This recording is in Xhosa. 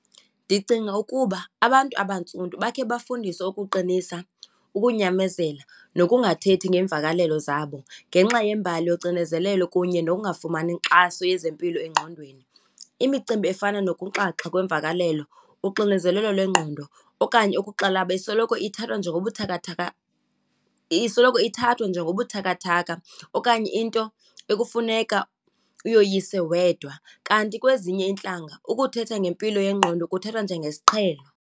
Ndicinga ukuba abantu abantsundu bakhe bafundiswe ukuqinisa, ukunyamezela, nokungathethi ngeemvakalelo zabo ngenxa yembali yocinezelelo kunye nokungafumani nkxaso yezempilo engqondweni. Imicimbi efana nokunxaxha kwemvakalelo, uxinezelelo lwengqondo okanye ukuxalaba, isoloko ithathwa njengobuthakathaka, isoloko ithathwa njengobuthakathaka okanye into ekufuneka uyoyise wedwa. Kanti kwezinye iintlanga ukuthetha ngempilo yengqondo kuthathwa njengesiqhelo.